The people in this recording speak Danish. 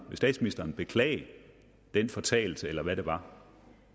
statsministeren beklage den fortalelse eller hvad det var